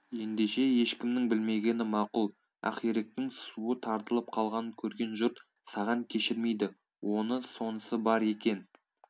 ендеше ешкімнің білмегені мақұл ақиректің суы тартылып қалғанын көрген жұрт саған кешірмейді оны сонысы бар екен